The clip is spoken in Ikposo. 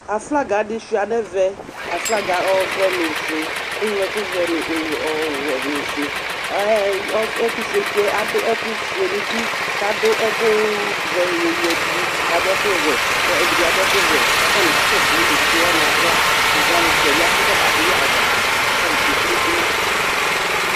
Aflaga di sua nɛvɛ Aflaga ɔvɛ nʋ ofue, kʋ eŋlo ɛkʋ vɛ, ɔwɛ nʋ ofue Ɛɛ, ɛtʋfuetsi yɛ adʋ ɛkʋ fue nʋ uti kʋ adʋ ɛkʋ vɛ yɔyadʋ kʋ adʋ ɛkʋ wɛ kʋ ɛdi bi adʋ ɛkʋ wɛ kʋ atani kasɛdʋ evidze wani aɣla Kɛ evidze wani, tɛɛbi afʋkɔbadʋ yi aɣla, kʋ atani tsue kunukunu